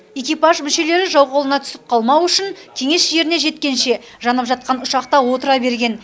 экипаж мүшелері жау қолына түсіп қалмау үшін кеңес жеріне жеткенше жанып жатқан ұшақта отыра берген